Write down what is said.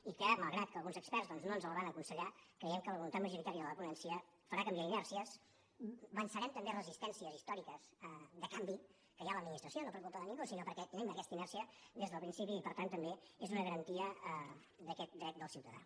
i que malgrat que alguns experts no ens els van aconsellar creiem que la voluntat majoritària de la ponència farà canviar inèrcies vencerem també resistències històriques de canvi que hi ha a l’administració no per culpa de ningú sinó perquè tenim aquesta inèrcia des del principi i per tant també és una garantia d’aquest dret del ciutadà